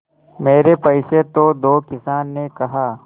मेरे पैसे तो दो किसान ने कहा